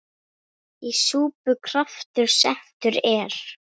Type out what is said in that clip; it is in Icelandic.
Í súpu kraftur settur er.